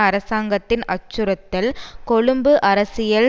அரசாங்கத்தின் அச்சுறுத்தல் கொழும்பு அரசியல்